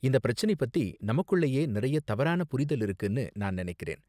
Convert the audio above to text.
இந்த பிரச்சனை பத்தி நமக்குள்ளயே நிறைய தவறான புரிதல் இருக்குனு நான் நினைக்கறேன்.